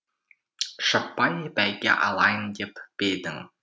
шаппай бәйге алайын деп пе едің